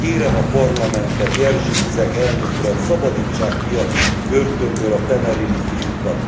Kérem a Parlamentet, Jerzy Buzek elnök urat, szabadítsák ki a börtönből a temerini fiúkat.